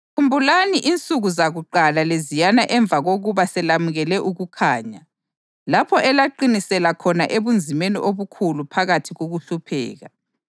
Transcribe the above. Pho licabanga ukuthi ufanele ukujeziswa kakhulu kangakanani umuntu owanyathela iNdodana kaNkulunkulu ngaphansi konyawo, ophathe igazi lesivumelwano elamenza waba ngcwele njengento engangcwele, lohlambaza uMoya womusa na?